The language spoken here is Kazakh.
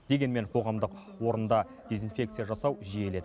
дегенмен қоғамдық орында дезинфекция жасау жиіледі